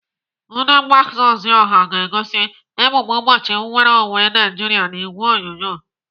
Ndi mgbasa ozi ọha ga-egosi emume ụbọchị nnwereonwe Naijiria n'ìgwè onyonyo.